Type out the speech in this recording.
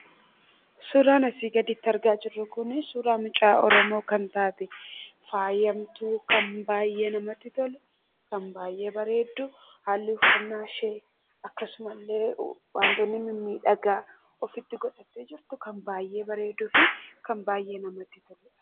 Suuraan asii gaditti argaa jirru kuni suuraa mucaa Oromoo kan taate, faayamtuu kan baay'ee namatti toltu, kan baay'ee bareeddu, haalli uffannaa ishee akkasumas illee waantonni mimmiidhagaa ofitti godhattee jirtu kan baay'ee bareeduu fi kan baay'ee namatti toludha.